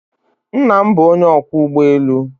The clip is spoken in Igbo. Nna m bụ onye ọkwọ ụgbọ elu